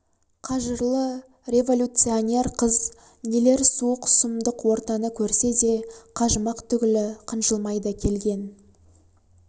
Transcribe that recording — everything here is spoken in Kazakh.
қажырлы революционер қыз нелер суық сұмдық ортаны көрсе де қажымақ түгілі қынжылмай да келген